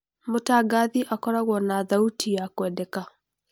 Mũtangathi akoragũo na thauti ya kwendeka.